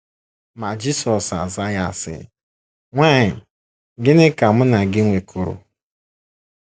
Ma Jisọs azaa ya, sị: “ Nwanyị, gịnị ka Mụ na gị nwekọrọ?